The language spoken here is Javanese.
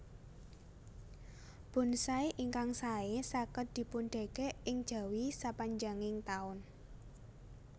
Bonsai ingkang saé saged dipundèkèk ing jawi sapanjanging taun